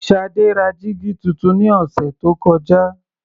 Ṣadé ra dígí tuntun ní ọ̀sẹ̀ tó kọjá.